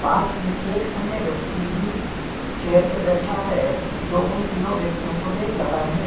पासी एक अन्य व्यक्ति भी चेयर पर बैठा है जो उन तीनों व्यक्तियों को देख रहा है।